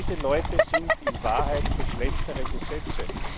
Diese Leute sind in Wahrheit für schlechtere Gesetze.